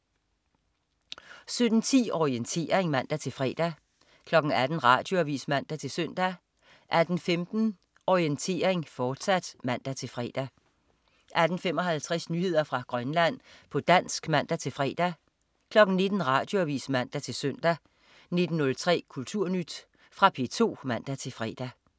17.10 Orientering (man-fre) 18.00 Radioavis (man-søn) 18.15 Orientering, fortsat (man-fre) 18.55 Nyheder fra Grønland, på dansk (man-fre) 19.00 Radioavis (man-søn) 19.03 Kulturnyt. Fra P2 (man-fre)